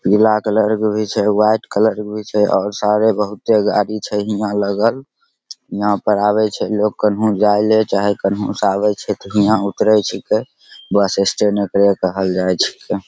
पीला कलर क भी छे वाइट कलर भी छे और सारे बहुते गाड़ी छे हियां लगल यहां पर आवे छे लोग कन्हू जायले चाहे कन्हू स आवे छे त हियां ऊतरे छिकै बस स्टैंड ऐकरे कहल जाय छिकै।